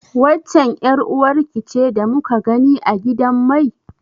Waccen ƴar uwarki ce da muka gani a gidan mai?